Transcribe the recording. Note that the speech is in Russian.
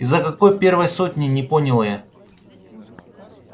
из-за какой первой сотни не поняла я